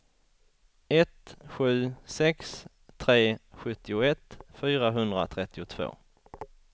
ett sju sex tre sjuttioett fyrahundratrettiotvå